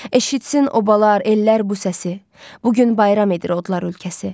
Eşitsin obalar, ellər bu səsi, bu gün bayram edir odlar ölkəsi.